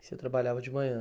Você trabalhava de manhã?